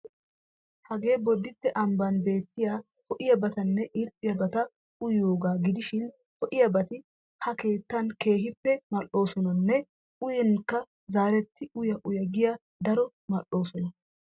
Hagee boditte ambban beettiya ho"iyabatanne irxxiyabata uyiyogaa gidishin ho"iyabati ha keettan keehippe mal"oosonanne uyinkka zarettidi uya uya giya daro mal'oosona.